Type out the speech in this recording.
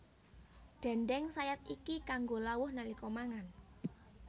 Déndéng sayat iki kanggo lawuh nalika mangan